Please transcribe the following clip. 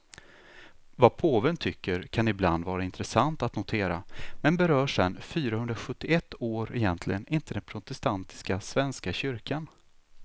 Vad påven tycker kan ibland vara intressant att notera, men berör sen fyrahundrasjuttioett år egentligen inte den protestantiska svenska kyrkan.